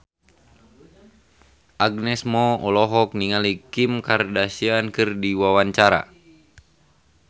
Agnes Mo olohok ningali Kim Kardashian keur diwawancara